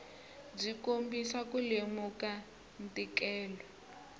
byi kombisa ku lemuka ntikelo